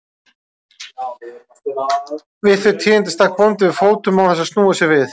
Við þau tíðindi stakk bóndi við fótum án þess að snúa sér við.